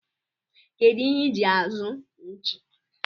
kedụ ihe iji azụ nchi?